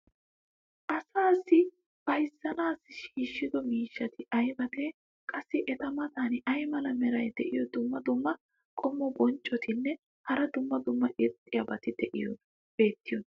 asaassi bayzzanaassi shiishshido miishshati aybatee? qassi eta matan ay mala meray diyo dumma dumma qommo bonccotinne hara dumma dumma irxxabati beettiyoonaa?